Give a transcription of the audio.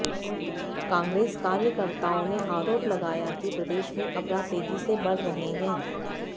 कांग्रेस कार्यकर्ताओं ने आरोप लगाया कि प्रदेश में अपराध तेजी से बढ़ रहे हैं